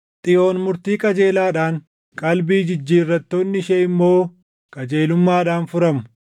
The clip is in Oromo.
Xiyoon murtii qajeelaadhaan, qalbii jijjiirrattoonni ishee immoo qajeelummaadhaan furamu.